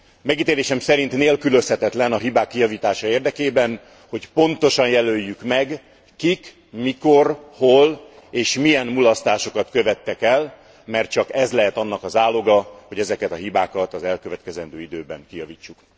Megítélésem szerint nélkülözhetetlen a hibák kijavítása érdekében, hogy pontosan jelöljük meg, kik, mikor, hol és milyen mulasztásokat követtek el, mert csak ez lehet annak a záloga, hogy ezeket a hibákat az elkövetkezendő időben kijavítsuk.